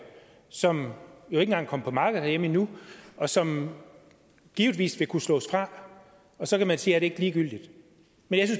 som jo ikke engang er kommet på markedet herhjemme endnu og som givetvis vil kunne slås fra og så kan man sige er det ikke ligegyldigt men